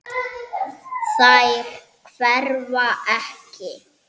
Þær hverfa ekki.